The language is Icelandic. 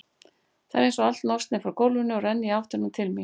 Það er einsog allt losni frá gólfinu og renni í áttina til mín.